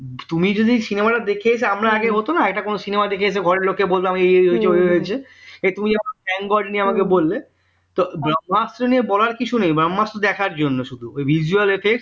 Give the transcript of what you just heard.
তুমি যদি cinema দেখে আমরা আগে হত না cinema ঘরের লোককে বলতাম এই এই হয়েছে তুমি কেমন thank God নিয়ে আমাকে বললে তো ব্রম্ভাস্ত্র নিয়ে বলার কিছু নেই ব্রম্ভাস্ত্র দেখার জন্য শুধু visual effects